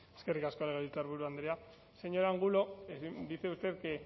eskerrik asko legebiltzarburu andrea señor angulo dice usted que